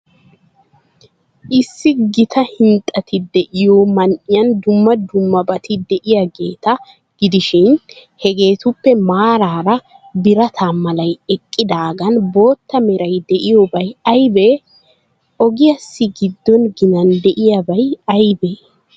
Issi gita hinxxati de'iyoo man''iyan dumma dummabati de'iyaageeta gidishin, hegeetuppe maaraara birata malay eqqidaagan bootta meray de'iyaabay aybee? Ogiyaassi giddon ginan de'iyaabay aybee?